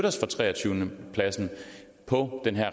os fra treogtyvende pladsen på